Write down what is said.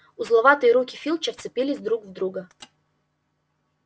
узловатые руки филча вцепились друг в друга